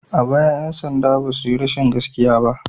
A baya 'yan sanda ba su yi rashin gaskiya ba.